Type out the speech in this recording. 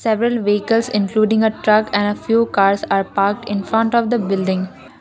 several vehicles including a truck and a few cars are parked in front of the building.